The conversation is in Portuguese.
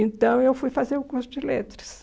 Então, eu fui fazer o curso de letras.